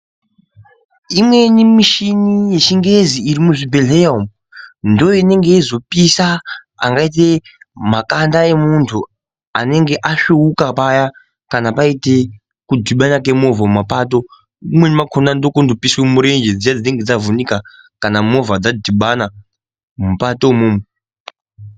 Imweni mishini yechingezi iri muzvibhedhlera umu ndoinenge yeizopisa angaite makanda emuntu anenge asvuuka paya kana paite kudhibana kwemovha mumapato. Umweni vakona ndokunondopiswa murenje dziya dzinenge dzavhunika kana movha dzadhibana mupato imomo.